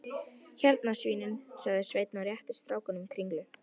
Hérna svínin, sagði Sveinn og rétti strákunum kringlu.